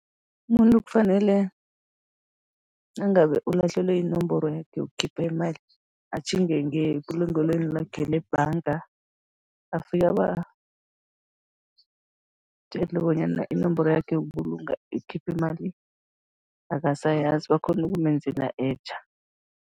Umuntu kufanele, nangabe ulahlekelwe yinomboro yakhe yokukhipha imali, atjhinge ngebulungelweni lakhe lebhanga, afike abatjele bonyana inomboro yakhe yokubulunga, yokukhipha imali, akasayazi, bakghone ukumenzela etja.